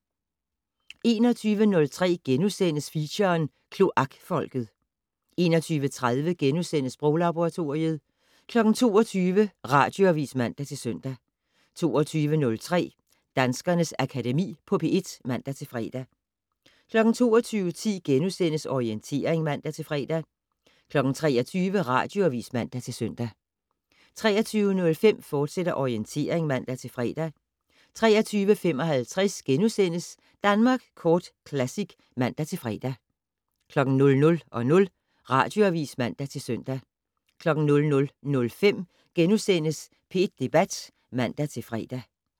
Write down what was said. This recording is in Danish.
21:03: Feature: Kloakfolket * 21:30: Sproglaboratoriet * 22:00: Radioavis (man-søn) 22:03: Danskernes Akademi på P1 (man-fre) 22:10: Orientering *(man-fre) 23:00: Radioavis (man-søn) 23:05: Orientering, fortsat (man-fre) 23:55: Danmark Kort Classic *(man-fre) 00:00: Radioavis (man-søn) 00:05: P1 Debat *(man-fre)